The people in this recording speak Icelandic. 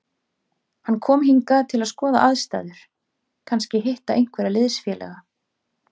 Hann kom hingað til að skoða aðstæður, kannski hitta einhverja liðsfélaga.